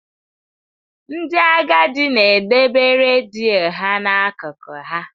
Ndị agadi na-edebe redio ha n'akụkụ ha.